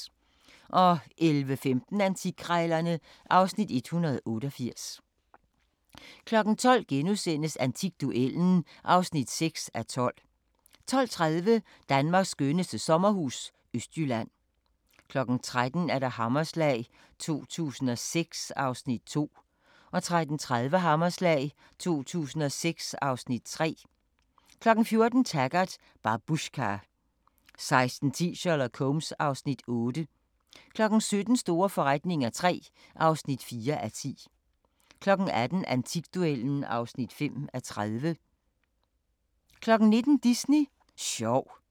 11:15: Antikkrejlerne (Afs. 188) 12:00: Antikduellen (6:12)* 12:30: Danmarks skønneste sommerhus – Østjylland 13:00: Hammerslag 2006 (Afs. 2) 13:30: Hammerslag 2006 (Afs. 3) 14:00: Taggart: Babushka 16:10: Sherlock Holmes (Afs. 8) 17:00: Store forretninger III (4:10) 18:00: Antikduellen (5:30) 19:00: Disney sjov